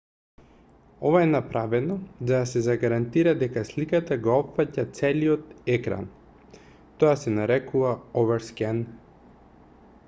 ова е направено за да се загарантира дека сликата го опфаќа целиот екран тоа се нарекува overscan